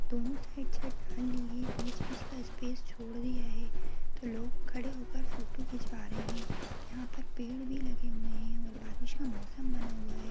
दोनों साईड से डाल ली है बीच बीच का स्पेस छोड़ दिया है तो लोग खड़े हो कर फोटो खिचवा रहे हैं यहां पर पेड़ भी लगे हुए है और बारीस का मौसम बना हुआ है।